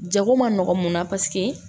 Jago man nɔgɔn mun na paseke